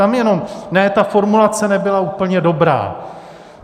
Tam jenom: Ne, ta formulace nebyla úplně dobrá.